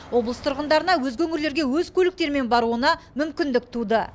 облыс тұрғындарына өзге өңірлерге өз көліктерімен баруына мүмкіндік туды